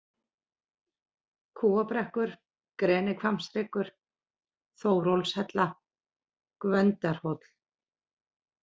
Kúabrekkur, Grenihvammshryggur, Þórólfshella, Gvöndarhóll